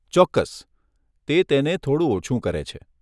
ચોક્કસ, તે તેને થોડું ઓછું કરે છે.